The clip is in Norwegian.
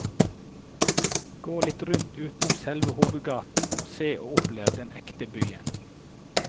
Gå litt rundt utenom selve hovedgaten og se og opplev den ekte byen.